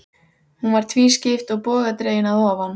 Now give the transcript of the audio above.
Hún var tvískipt og bogadregin að ofan.